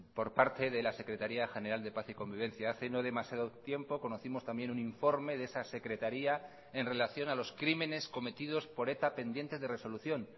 por parte de la secretaría general de paz y convivencia hace no demasiado tiempo conocimos también un informe de esa secretaría en relación a los crímenes cometidos por eta pendientes de resolución